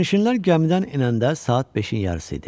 Sərnişinlər gəmidən enəndə saat 5-in yarısı idi.